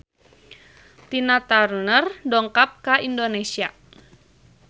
Tina Turner dongkap ka Indonesia